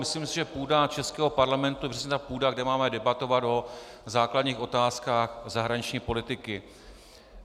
Myslím si, že půda českého parlamentu je přesně ta půda, kde máme debatovat o základních otázkách zahraniční politiky.